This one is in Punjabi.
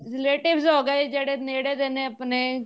relatives ਹੋ ਗਏ ਜਿਹੜੇ ਨੇੜੇ ਦੇ ਆਪਣੇ